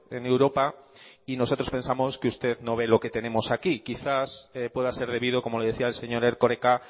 en europa y nosotros pensamos que usted no ve lo que tenemos aquí quizás pueda ser debido como le decía el señor erkoreka